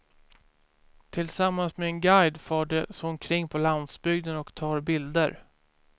Tillsammans med en guide far de så omkring på landsbygden och tar bilder.